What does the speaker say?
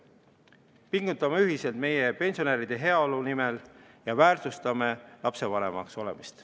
Pingutame ühiselt meie pensionäride heaolu nimel ja väärtustame lapsevanemaks olemist.